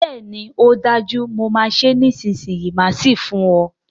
Bẹ́ẹ̀ni ọ dájú, mo máa ṣé nísìsiyìí máà sì fún ọ